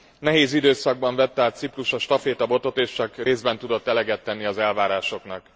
Nehéz időszakban vette át Ciprus a stafétabotot, és csak részben tudott eleget tenni az elvárásoknak.